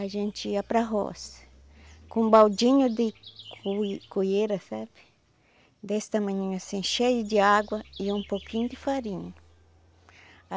A gente ia para a roça com um baldinho de sabe desse tamanhinho assim, cheio de água e um pouquinho de farinha.